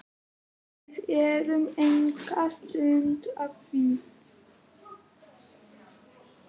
Við erum enga stund að því.